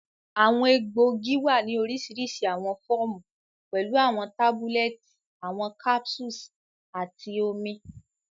Awọn egboogi wa ni orisirisi awọn fọọmu, pẹlu awọn tabulẹti, awọn capsules, ati omi.